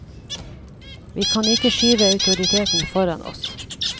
Vi kan ikke skyve autoritetene foran oss.